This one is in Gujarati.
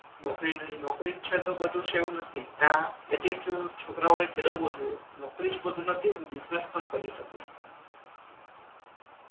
નોકરી નહિ નોકરી છે તો બધુ જ છે એવુ નથી આ એટ્ટીટ્યૂડ છોકરો એ કેળવવો જોઈએ નોકરી જ બધુ નથી ને બિજનેસ પણ કરી શકો છો એ